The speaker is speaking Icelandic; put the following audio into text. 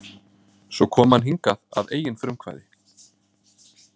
Svo kom hann hingað að eigin frumkvæði.